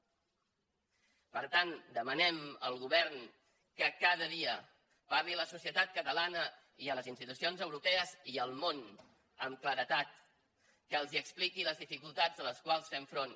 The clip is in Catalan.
per tant demanem al govern que cada dia parli a la societat catalana i a les institucions europees i al món amb claredat que els expliqui les dificultats a les quals fem front